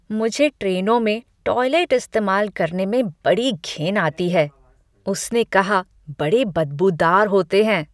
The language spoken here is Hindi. मुझे ट्रेनों में टॉयलेट इस्तेमाल करने में बड़ी घिन आती है, उसने कहा, "बड़े बदबूदार होते हैं।"